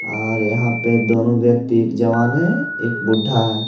और यहाँ पे दोनों व्यक्ति एक जवान है एक बुड्ढा है।